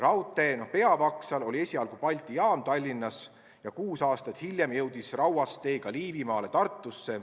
Raudtee peavaksal oli esialgu Balti jaam Tallinnas ja kuus aastat hiljem jõudis rauast tee ka Liivimaale Tartusse.